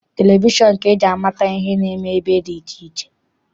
Televishọn ka eji amata ihe na-eme ebe dị iche iche.